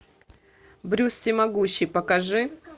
брюс всемогущий покажи